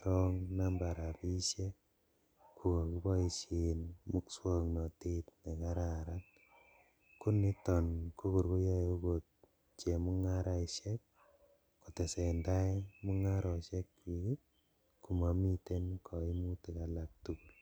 wrong number rabishek kokokiboishen muswoknotet nekararan koniton kokor koyoe okot chemungaraishek kotesendaai mungaroishekchik ii komomiten koimutik alaktugul.